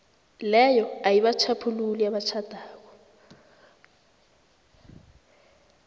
leyo ayibatjhaphululi abatjhadako